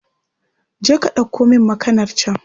Je ka ɗauko min makanar can